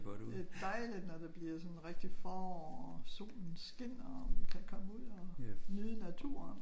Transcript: Det er dejligt når det bliver sådan rigtigt forår og solen skinner og man kan komme ud og nyde naturen